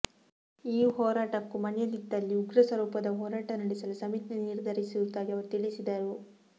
ಈ ಹೋರಾಟಕ್ಕೂ ಮಣಿಯದಿದ್ದಲ್ಲಿ ಉಗ್ರ ಸ್ವರೂಪದ ಹೋರಾಟ ನಡೆಸಲು ಸಮಿತಿ ನಿರ್ಧರಿಸಿರುವುದಾಗಿ ಅವರು ತಿಳಿಸಿದರು